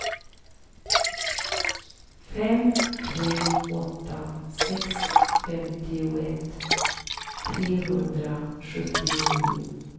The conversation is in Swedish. fem tre åtta sex femtioett trehundrasjuttionio